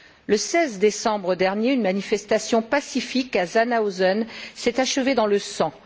Le 16 décembre dernier, une manifestation pacifique à Zhanaozen s'est achevée dans le sang.